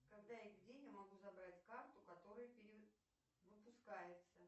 когда и где я могу забрать карту которая перевыпускается